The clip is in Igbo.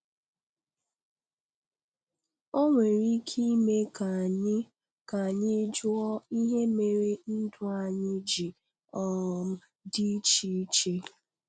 Ọ nwere ike ime ka anyị ka anyị jụọ ihe mere ndụ anyị ji um dị iche iche.